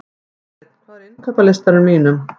Þorsteinn, hvað er á innkaupalistanum mínum?